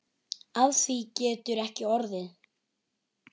Af því getur ekki orðið.